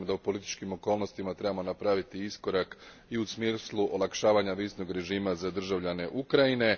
Smatram da u političkim okolnostima trebamo napraviti iskorak i u smislu olakšavanja viznog režima za državljane Ukrajine.